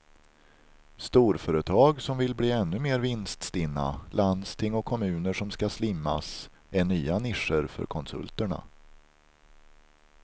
Storföretag som vill bli ännu mer vinststinna, landsting och kommuner som ska slimmas är nya nischer för konsulterna.